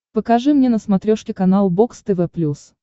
покажи мне на смотрешке канал бокс тв плюс